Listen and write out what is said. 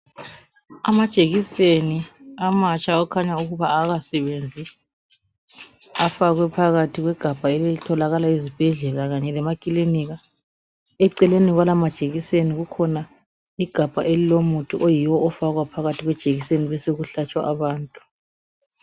Amajekiseni amatsha akhanya ukuba awakasebenzi .Afakwe phakathi kwegabaha ezitholakala ezibhedlela kanye lemakilinika .Eceleni kwalawa majekiseni kukhona igabha elilomuthi oyiwo ofakwa phakathi kwejekiseni besoku hlatshwa abantu.